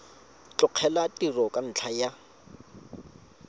tlogela tiro ka ntlha ya